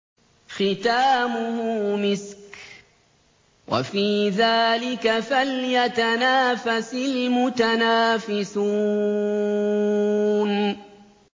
خِتَامُهُ مِسْكٌ ۚ وَفِي ذَٰلِكَ فَلْيَتَنَافَسِ الْمُتَنَافِسُونَ